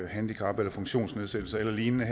handicap eller funktionsnedsættelse eller lignende